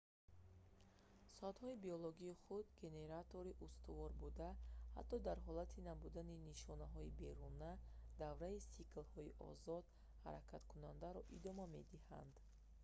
соатҳои биологӣ худ генератори устувор буда ҳатто дар ҳолати набудани нишонаҳои беруна давраи сиклҳои озод ҳаракаткунандаро идома медиҳанд